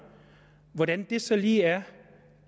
hvordan er det så lige at